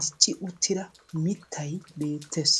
dicci uttida miittay betees.